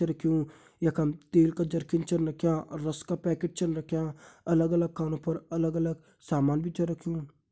रख्युं यखम तेल का जरखिन छन रख्यां और रस का पैकेट छन रख्यां अलग अगल खानो पर अलग अलग सामान भी छ रख्युं।